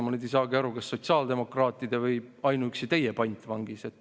Ma nüüd ei saagi aru, kas ta on sotsiaaldemokraatide või ainuüksi teie pantvangis.